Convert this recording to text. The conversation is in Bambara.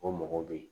O mɔgɔ bɛ ye